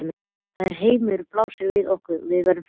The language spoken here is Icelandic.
Þegar heimurinn blasir við okkur og við verðum frjáls.